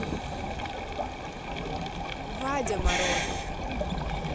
вадя морозов